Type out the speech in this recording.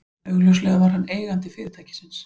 Augljóslega var hann eigandi fyrirtækisins.